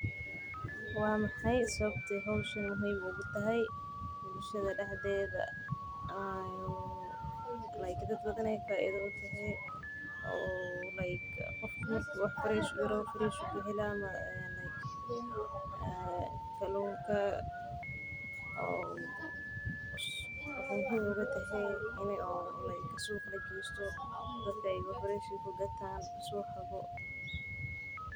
Waa maxay sababta howshani muhiim ugu tahay bulshada dexdeeda sababta aad ujeceshahay ama unecbahay howshan geedaha la abuurayo si waay ku fican yihiin saliidaha kuleelkooda qafiif ah.